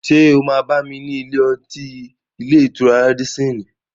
Ṣé o máa bá mi ní ilé-ọtí ilé-ìtura Rádísín-ìn?